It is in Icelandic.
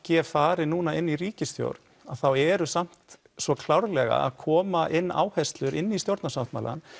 g fari núna inn í ríkisstjórn þá eru samt svo klárlega að koma inn áherslur inn í stjórnarsáttmálann